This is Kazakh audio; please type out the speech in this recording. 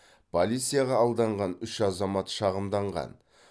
полицияға алданған үш азамат шағымданған